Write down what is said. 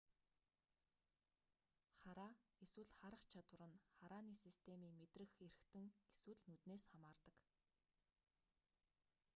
хараа эсвэл харах чадвар нь харааны системийн мэдрэх эрхтэн эсвэл нүднээс хамаардаг